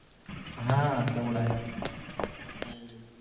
हम्म तेवढ आहे हम्म